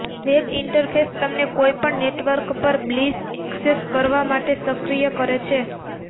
web interface તમને કોઈપણ network પર બ્લિસ ઍક્સેસ કરવા માટે સક્રિય કરે છે